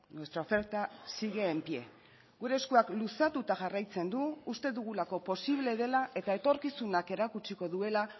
nuestra oferta sigue en pie gure eskuak luzatuta jarraitzen du uste dugulako posible dela eta etorkizunak erakutsiko duela